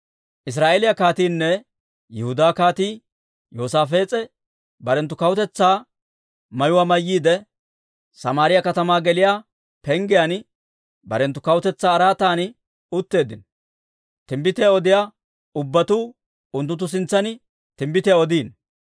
Israa'eeliyaa kaatiinne Yihudaa Kaatii Yoosaafees'e, barenttu kawutetsaa mayuwaa mayyiide, Samaariyaa katamaa geliyaa penggiyaan barenttu kawutetsaa araatan utteeddino; timbbitiyaa odiyaa ubbatuu unttunttu sintsan timbbitiyaa odiino.